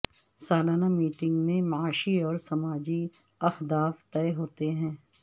سالانہ میٹنگ میں معاشی اور سماجی اہداف طے ہوتے ہیں